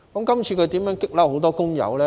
這次他如何把很多工友激怒呢？